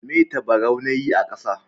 Me tabaraun na yi a kasa.